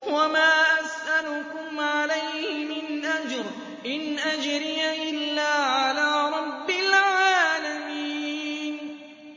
وَمَا أَسْأَلُكُمْ عَلَيْهِ مِنْ أَجْرٍ ۖ إِنْ أَجْرِيَ إِلَّا عَلَىٰ رَبِّ الْعَالَمِينَ